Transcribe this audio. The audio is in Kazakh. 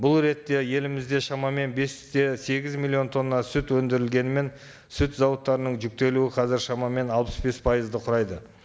бұл ретте елімізде шамамен бес те сегіз миллион тонна сүт өндірілгенімен сүт зауыттарының жүктелуі қазір шамамен алпыс бес пайызды құрайды